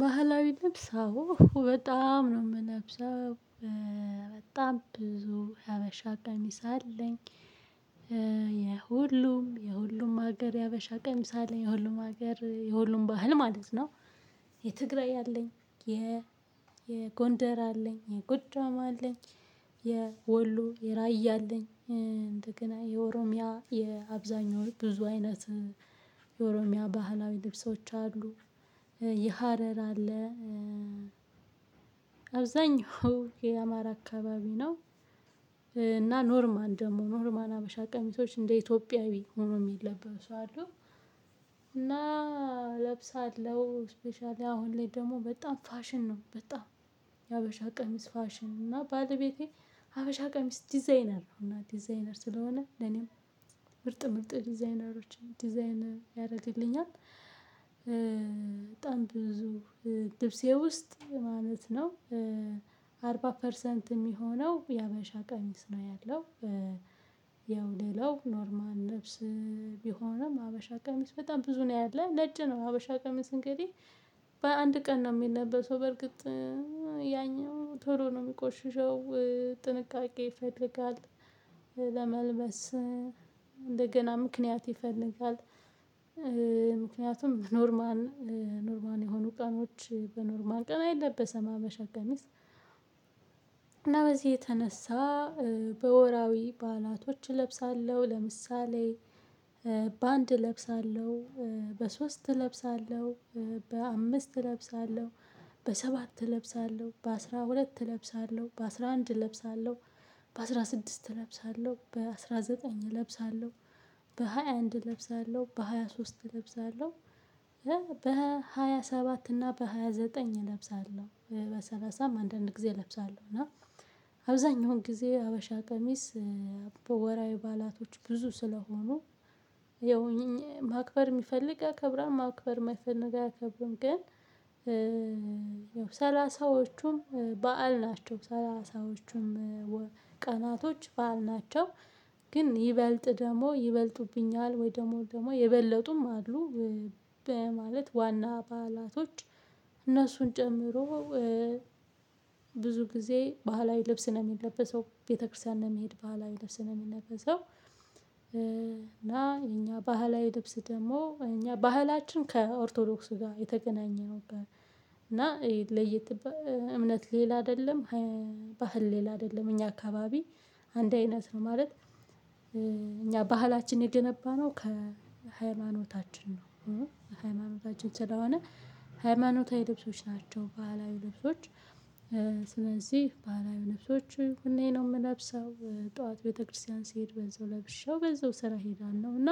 ባህላዊ ልብስ አዎ በጣም ነው የምለብሰው በጣም ብዙ ያበሻ ቀሚስ አለኝ። የሁሉም የሁሉም ሀገር ያበሻ ቀሚስ አለለኝ የሁሉም ሀገር የሁሉም ባህል ማለት ነው። የትግራይ አለኝ የ የጎንደር አለኝ የጎጃም አለኝ። የወሎ የራያ አለኝ እንደገና የኦሮሚያ የአብዛኛው ብዙ አይነት። የኦሮሚያ ባህላዊ ልብሶች አሉ። የሀረር አለ። አብዛኛው የአማራ አካባቢ ነው። እና ኖርማል ደግሞ ኖርማል ሀበሻ ቀሚሶች እንደ ኢትዮጵያዊ ሆኖ የሚለበሱ አሉ። እና እለብሳለሁ ስፔሻሊ አሁን ላይ ደግሞ በጣም ፋሽን ነው። በጣም የሀበሻ ቀሚስ ፋሽን እና ባለቤቴ ሀበሻ ቀሚስ ዲዛይነር ነው። እና ዲዛይነር ስለሆነ ለኔም ምርጥ ምርጥ ዲዛይነኖን ዲዛይን ያደርግልኛል። በጣም ብዙ ልብሴ ውስጥ ማለት ነው። 40 ፐርሰንት የሚሆነው የሀበሻ ቀሚስ ነው ያለው። ያው ሌላው ኖርማል ልብስ ቢሆንም ሀበሻ ቀሚስ በጣም ብዙ ነው ያለው። ነጭ ነው ሀበሻ ቀሚስ እንግዲህ በአንድ ቀን ነው የሚለበሰው። በርግጥ ያኛው ቶሎ ነው የሚቆሽሸው። ጥንቃቄ ይፈልጋል። ለመልበስ እንደገና ምክንያት ይፈልጋል። ምክንያቱም በኖርማል ኖርማል የሆኑ ቀኖች በኖርማል ቀን አይለበሰም ሀበሻ ቀሚስ። እና በዚህ የተነሳ በወራዊ ባእላቶች እለብሳለሁ። ለምሳሌ በአንድ እለብሳለሁ በሶስት እለብሳለሁ በአምስት እለብሳለሁ በሰባት እለብሳለሁ በአስራ ሁለት እለብሳለሁ በአስራ አንድ እለብሳለሁ በአስራ ስድስት እለብሳለሁ በአስራ ዘጠኝ እለብሳለሁ በ ሃያ አንድ በ23 እለብሳለሁ። በ27 እና በ29 ዘጠኝ እለብሳለሁ በሰላሳም አንዳንድ ጊዜ እለብሳለሁ እና አብዛኛውን ጊዜ ሀበሻ ቀሚስ። በ ወራዊ ባእላቶች ብዙ ስለሆኑ ያው ማክበር የሚፈልግ ያከብራል ማክበር የማይፈልግ አያከብርም። ግን ሰላሳዎቹም በዓል ናቸው ሰላሳዎቹም ቀናቶች በዓል ናቸው። ግን ይበልጥ ደግሞ ይበልጡብኛል ወይ ደግሞ ደግሞ የበለጡም አሉ። በማለት ዋና በዓላቶች አነሱን ጨምሮ ብዙ ጊዜ ባህላዊ ልብስ ነው የሚለበሰው ቤተክርስቲያን ለመሄድ ባህላዊ ልብስ ነው የሚለበሰው። እና የኛ ባህላዊ ልብስ ደግሞ እኛ ባህላችን ከኦርቶዶክስ ጋር የተገናኘ ነበር። እና ለየት እምነት ሌላ አይደለም። ባህል ሌላ አይደለም እኛ አካባቢ አንድ አይነት ነው ማለት። እኛ ባህላችን የገነባነው ከሃይማኖታችን ነው። ከሃይማኖታችን ስለሆነ ሃይማኖታዊ ልብሶች ናቸው ባህላዊ ልብሶች። ስለዚህ ባህላዊ ልብሶች ሁሌ ነው የምለብሰው ጠዋት ቤተክርስቲያን ስሄድ በዛው ለብሼው በዛው ስራ አሄዳለሁ። እና